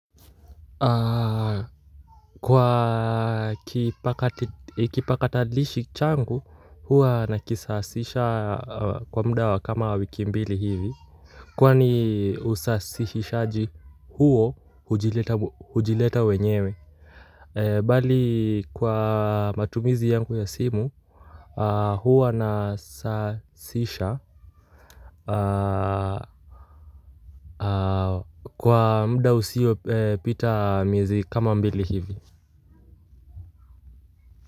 Kwa kipakatalishi changu huwa nakisawazisha kwa muda wa kama wiki mbili hivi kwani usasishaji huo hujileta wenyewe bali kwa matumizi yangu ya simu, huwa nasahasisha kwa muda usio pita miezi kama mbili hivi kwa hivyo.